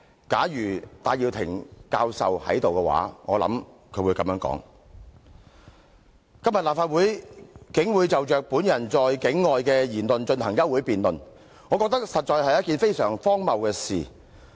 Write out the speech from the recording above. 假如戴耀廷教授在這裏，我想他會這樣說：今天立法會竟會就着本人在境外的言論進行休會辯論，我覺得實在是一件非常荒謬的事。